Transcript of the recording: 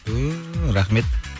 түү рахмет